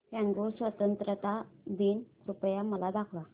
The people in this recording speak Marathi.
कॉंगो स्वतंत्रता दिन कृपया मला दाखवा